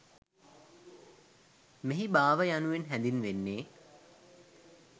මෙහි භාව යනුවෙන් හැඳින්වෙන්නේ